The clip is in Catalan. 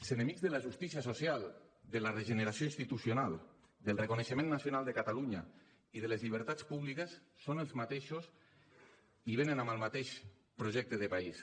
els enemics de la justícia social de la regeneració institucional del reconeixement nacional de catalunya i de les llibertats públiques són els mateixos i venen amb el mateix projecte de país